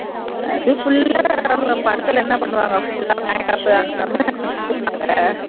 அது full ஆ படத்தில் என்ன பண்ணுவாங்க full ஆ makeup அந்த மாதிர்தான எல்லாம் பண்ணுவாங்க